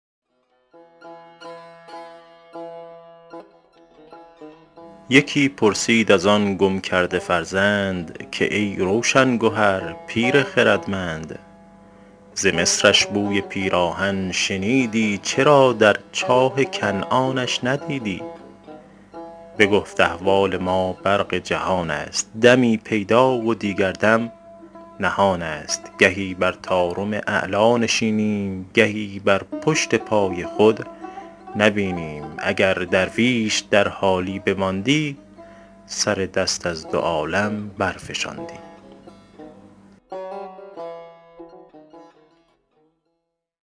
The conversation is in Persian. یکی پرسید از آن گم کرده فرزند که ای روشن گهر پیر خردمند ز مصرش بوی پیراهن شنیدی چرا در چاه کنعانش ندیدی بگفت احوال ما برق جهان است دمی پیدا و دیگر دم نهان است گهی بر طارم اعلیٰ نشینیم گهی بر پشت پای خود نبینیم اگر درویش در حالی بماندی سر دست از دو عالم برفشاندی